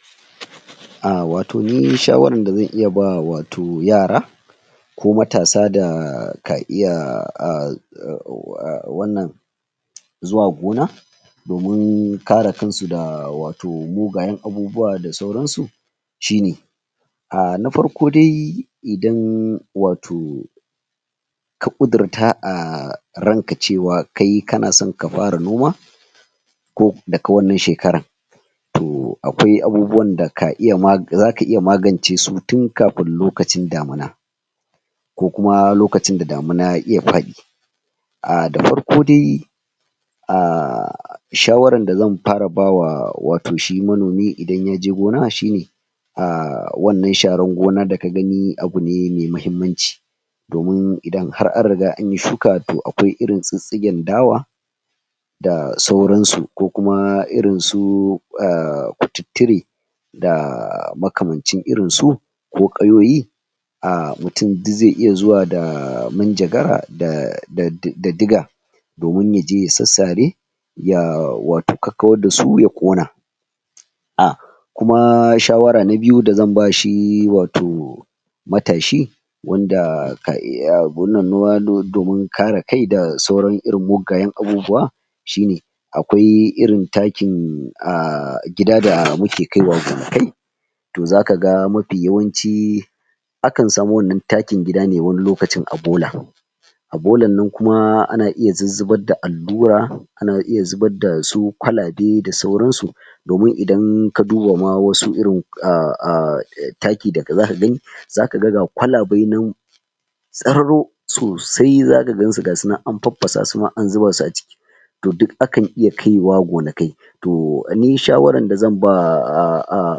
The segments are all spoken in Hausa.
? ahh wato ni shawaran da zan iya ba wato yara ko matasa da ka iya ahh ahh wannan zuwa gona domin kare kansu da wato mugayen abubuwa da sauransu shine ahh na farko dai idan wato ka ƙudirta ahhh ranka cewa kai kana son ka fara noma ko daga wannan shekaran to akwai abubuwan da ka iya zaka iya magance su tin kafin lokacin damina ko kuma lokacin da damina ya faɗi ahh da farko dai ahhhhh shawaran da zan para ba wa wato shi manomi idan yaje gona shine ahh wannan sharan gona da ka gani abu ne mai muhimmanci domin idan har an riga anyi shuka to akwai irin tsittsigen dawa da sauransu ko kuma irin su ahh kututture da makamancin irin su ko ƙayoyi ahh mutun duk zai iya zuwa da minjagara da diga domin yaje ya sassare ya wato kakkawar dasu ya ƙona ah kuma shawara na biyu da zan ba shi wato matashi wanda ka iya noma domin kare kai da sauran irin muggayen abubuwa shine akwai irin takin ahh gida da muke kaiwa gonakai to zaka ga mafi yawanci akan samu wannan takin gida ne wani lokacin a bola a bolan nan kuma ana zuzzubar da allura ana iya zubar dasu kwalabe da sauransu domin idan ka duba ma wasu irin ah ah taki da zaka gani zaka ga ga kwalabe nan tsararo sosai zaka gansu gasu nan an pappasa su ma an zuba su a ciki to duk akan iya kaiwa gonakai to ni shawaran da zan ba ah ah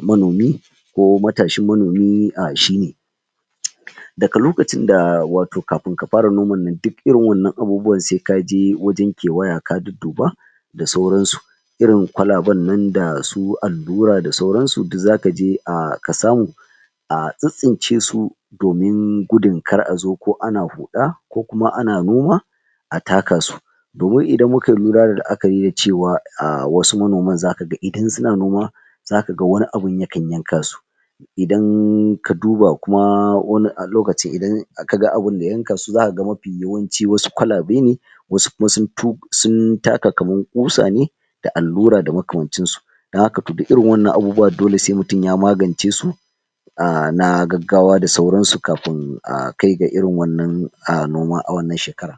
manomi ko matashin manomi ahh shine? daga lokacin da wato kapin ka para noman nan duk irin wannan abubuwan sai kaje wajen kewaya ka dudduba da sauransu irin kwalaban nan dasu allura da sauransu duk zakaje ah ka samu a tsittsince su domin gudun kar a zo ko ana huɗa ko kuma ana noma a taka su domin idan muka lura da la'akari da cewa ah wasu manoman zaka ga idan suna noma zaka ga wani abin ya kan yanka su idan ka duba kuma wani ah lokacin kaga abinda ya yanka su zaka ga mafi yawanci wasu kwalabe ne wasu kuma sun taka kaman ƙusa ne da allura da makamancin su don haka to duk irin wannan abubuwa dole sai mutun ya magance su ahh na gaggawa da sauransu kafin a kai ga irin wannan ahh noma a wannan shekaran?